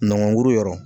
Nɔgɔnkuru yɔrɔ